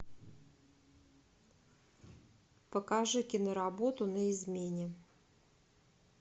покажи киноработу на измене